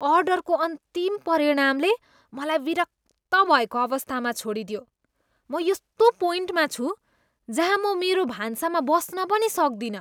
अर्डरको अन्तिम परिणामले मलाई विरक्त भएको अवस्थामा छोडिदियो। म यस्तो पोइन्टमा छु जहाँ म मेरो भान्सामा बस्न पनि सक्दिनँ।